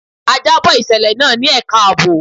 A jábọ̀ ìṣẹ̀lẹ̀ náà ní ẹka àbò.